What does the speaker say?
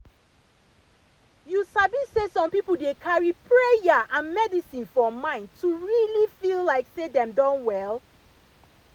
you sabi say some people dey carry prayer and medicine for mind to really feel like say dem don well.